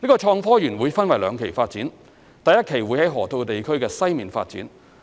創科園會分兩期發展，第一期會在河套地區西面發展。